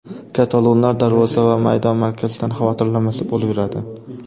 Katalonlar darvoza va maydon markazidan xavotirlanmasa bo‘laveradi.